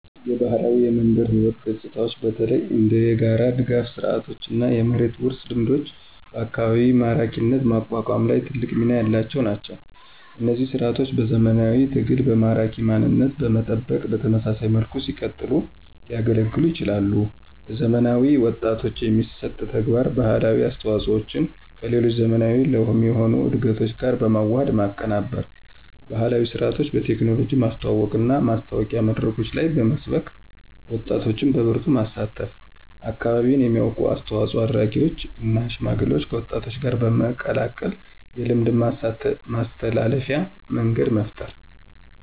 የባህላዊ የመንደር ሕይወት ገጽታዎች በተለይ እንደ የጋራ ድጋፍ ስርዓቶችና የመሬት ውርስ ልምዶች በአካባቢ ማራኪነት ማቋቋም ላይ ትልቅ ሚና ያላቸው ናቸው። እነዚህ ሥርዓቶች በዘመናዊ ትግልና በማራኪ ማንነት በመጠበቅ በተመሳሳይ መልኩ ሲቀጥሉ ሊያገለግሉን ይችላሉ። ለዘመናዊ ወጣቶች የሚሰጥ ተግባር: ባህላዊ አስተዋፆዎቸን ከሌሎች ዘመናዊ ለሚሆኑ እድገቶች ጋር በመዋሃድ ማቀናበር። ባህላዊ ሥርዓቶችን በቴክኖሎጂ ማስተዋወቅና ማሳወቂያ መድረኮች ላይ በመስበክ ወጣቶች በበርቱ ማሳተፍ። አካባቢን የሚያውቁ አስተዋፆ አድራጊዎችን እና ሽማግሌዎችን ከወጣቶች ጋር በመቀላቀል የልምድ ማስተላለፊያ መንገድ መፍጠር።